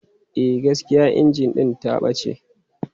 E, gaskiya injin ɗin ta ɓace.